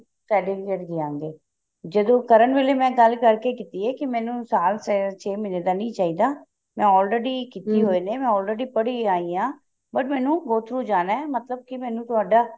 certificate ਦਿਆਂਗੇ ਜਦੋਂ ਕਰਨ ਵੇਲੇ ਮੈਂ ਗੱਲ ਕਰਕੇ ਕੇ ਮੈਨੂੰ ਸਾਲ ਛੇ ਮਹੀਨੇ ਦਾ ਨਹੀਂ ਚਾਹੀਦਾ ਮੈਂ already ਨੇ already ਪੜ੍ਹੀ ਆਈ ਹਾਂ but ਮੈਨੂੰ go through ਮਤਲਬ ਕੀ ਮੈਨੂੰ ਤੁਹਾਡਾ